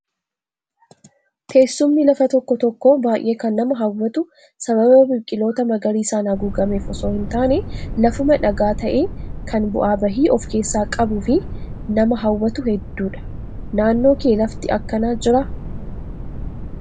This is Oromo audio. Teessumni lafa tokko tokkoo baay'ee kan nama hawwatu sababa biqiloota magariisaan haguugameef osoo hin taane lafuma dhagaa ta'ee kan bu'aa bahii of keessaa qabuu fi nama hawwatu hedduudha. Naannoo kee lafti akkanaa jiraa?